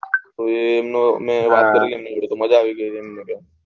મજા આઈ ગઈ એમ કે છે